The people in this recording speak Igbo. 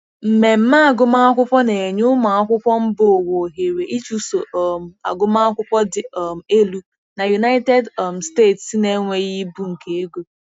Mmemme agụmakwụkwọ na-enye ụmụ akwụkwọ mba ụwa ohere ịchụso um agụmakwụkwọ dị um elu na United um States na-enweghị ibu nke ego.